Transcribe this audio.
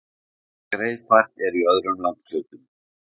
Greiðfært er í öðrum landshlutum